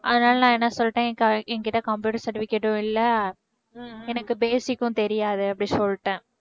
அதனால நான் என்ன சொல்லிட்டேன் என்~ என்கிட்ட computer certificate ம் இல்ல எனக்கு basic ம் தெரியாது அப்படின்னு சொல்லிட்டேன்